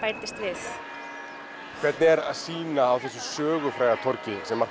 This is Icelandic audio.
bætast við hvernig er að sýna á þessu sögufræga torgi sem